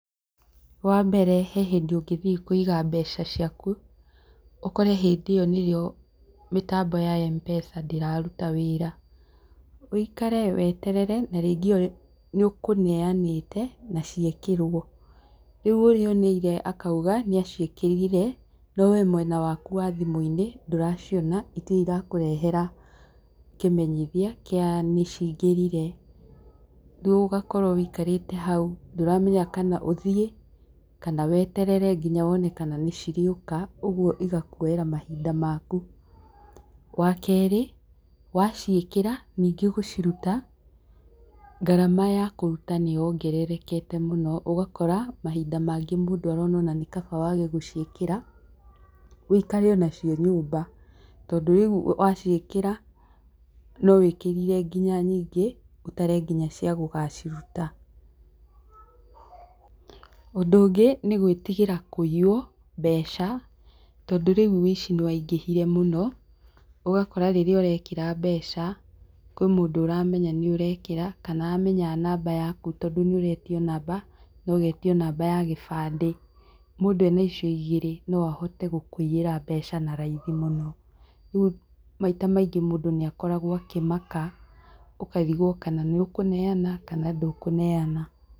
Wambere, he hĩndĩ ũngĩthiĩ kũiga mbeca ciaku, ũkore hĩndĩ ĩyo nĩrĩo mĩtambo ya M-Pesa ndĩraruta wĩra. Wũikare weterere, na rĩngĩ nĩũkũneanĩte, na ciekĩrwo. Rĩu ũrĩa ũneire akauga nĩaciĩkĩrire, no we mwena waku wa thimũ-inĩ, ndũraciona, itirĩ irakũrehera kĩmenyithia kĩa nicingĩrire. Rĩu ũgakorwo wikarĩte hau ndũramenya kana ũthiĩ, kana weterere nginya wone kana nĩcirĩũka, ũguo igakuoyera mahinda maku. Wakerĩ, waciĩkĩra, ningĩ gũciruta, ngarama yakũruta nĩyongererekete mũno, ũgakora mahinda mangĩ mũndũ arona ona nĩ kaba wage gũciĩkĩra, wũikare onacio nyũmba. Tondũ riũ waciĩkĩra no wĩkĩrire nginya nyingĩ, ũtare nginya cia gũgaciruta. Ũndũ ũngĩ, nĩ gwĩtigĩra kũiywo mbeca, tondũ rĩu wũici nĩwaingĩhire mũno, ũgakora rĩrĩa ũrekĩra mbeca, kwĩ mũndũ ũramenya nĩũrekĩra, kana amenya namba yaku tondũ nĩũretio namba, nogetio namba ya gĩbandĩ. Mũndũ ena icio igĩrĩ no ahote gũkũiyĩra mbeca na raithi mũno. Rĩu maita maingĩ mundũ nĩakoragwo akĩmaka, ũkarigwo kana nĩũkũneana, kana ndũkũneana.